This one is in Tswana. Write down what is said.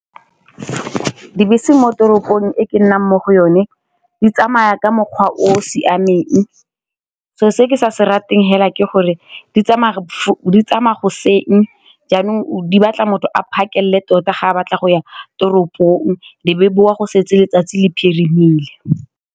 Dibese mo toropong e ke nnang mo go yone di tsamaya ka mokgwa o siameng, selo se ke sa se ratang fela ke gore di tsamaya goseng jaanong di batla motho a phakelele tota ga a batla go ya toropong le be boa go setse letsatsi le phirimile.